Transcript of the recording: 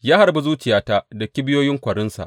Ya harbi zuciyata da kibiyoyin kwarinsa.